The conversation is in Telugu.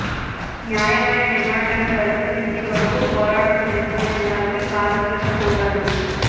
న్యాయమైన డిమాండ్లను పరిష్కరించే వరకూ పోరాటం చేస్తూనే ఉండాలని కార్మికులను కోరారు